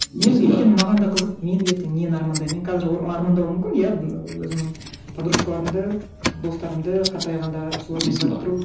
мен өйткені маған да қызық мен ертең нені армандаймын мен қазір армандауым мүмкін иә ыыы өзімнің подружкаларымды достарымды қартайғанда солармен барып тұру